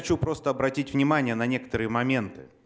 хочу просто обратить внимание на некоторые моменты